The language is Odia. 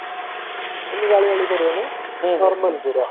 ଏମତି ଗାଳି ବାଳି କରିବନି normal ପୁରା